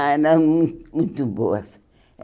Ah, eram mu muito boas.